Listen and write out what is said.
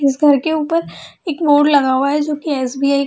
इस घर के ऊपर एक बोर्ड लगा हुआ है जो की एस.बी.आई. --